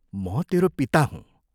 म तेरो पिता हूँ।